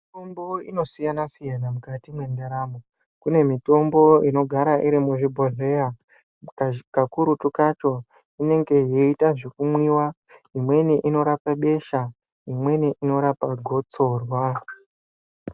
Mitombo inosiyana siyana mukati mwendaramo. Kune mitombo inogara iri muzvibhodhleya kakurutu kacho inenge yeita zvekumwiwa imweni inorapa besha imweni inorapa gotsorwa.